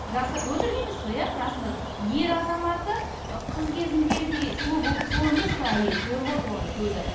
өтірік емес қой иә расында да ер азаматы қыз кезіндегідей сұлу сұлу емес қой әйелі көріп отыр оны көзі